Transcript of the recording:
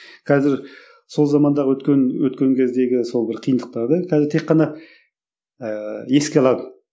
қазір сол замандағы өткен өткен кездегі сол бір қиындықтарды қазір тек қана ыыы еске аламын